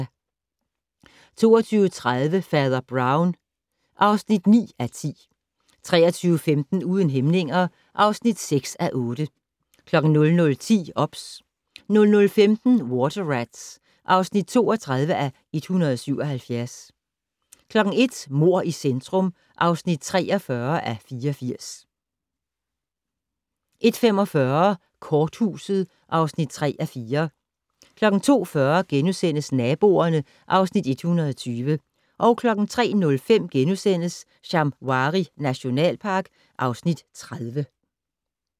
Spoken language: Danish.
22:30: Fader Brown (9:10) 23:15: Uden hæmninger (6:8) 00:10: OBS 00:15: Water Rats (32:177) 01:00: Mord i centrum (43:84) 01:45: Korthuset (3:4) 02:40: Naboerne (Afs. 120)* 03:05: Shamwari nationalpark (Afs. 30)*